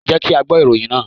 Jẹ́ kí á gbọ́ ìròyìn náà.